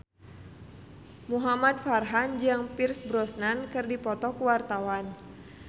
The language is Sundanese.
Muhamad Farhan jeung Pierce Brosnan keur dipoto ku wartawan